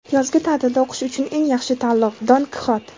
Yozgi ta’tilda o‘qish uchun eng yaxshi tanlov — Don Kixot.